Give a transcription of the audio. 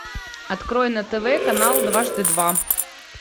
открой на тв канал дважды два